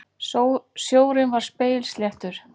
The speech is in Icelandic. Sjórinn var spegilsléttur.